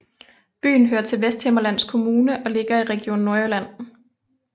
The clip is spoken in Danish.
Byen hører til Vesthimmerlands Kommune og ligger i Region Nordjylland